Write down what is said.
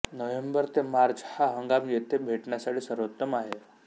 November ते March हा हंगाम येथे भेट देण्यासाठी सर्वोत्तम आहे